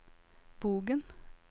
Bogen